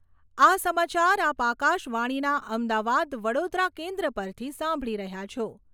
આ સમાચાર આપ આકાશવાણીના અમદાવાદ વડોદરા કેન્દ્ર પરથી સાંભળી રહ્યા છો.